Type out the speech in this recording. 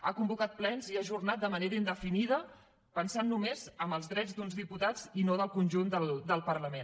ha convocat plens i els ha ajornat de manera indefinida pensant només en els drets d’uns diputats i no del conjunt del parlament